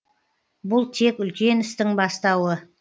бұл тек үлкен істің бастауы